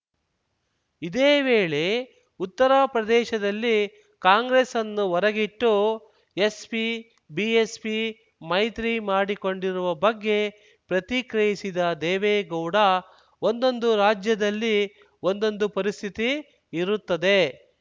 ಇದೇ ವೇಳೆ ಉತ್ತರ ಪ್ರದೇಶದಲ್ಲಿ ಕಾಂಗ್ರೆಸ್‌ ಅನ್ನು ಹೊರಗಿಟ್ಟು ಎಸ್ಪಿಬಿಎಸ್ಪಿ ಮೈತ್ರಿ ಮಾಡಿಕೊಂಡಿರುವ ಬಗ್ಗೆ ಪ್ರತಿಕ್ರಿಯಿಸಿದ ದೇವೇಗೌಡ ಒಂದೊಂದು ರಾಜ್ಯದಲ್ಲಿ ಒಂದೊಂದು ಪರಿಸ್ಥಿತಿ ಇರುತ್ತದೆ